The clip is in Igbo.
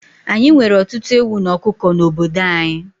Ányi nwere ọtụtụ ewu na ọkụkọ n'obodo anyị